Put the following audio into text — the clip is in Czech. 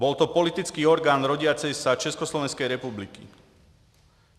Byl to politický orgán rodící se Československé republiky.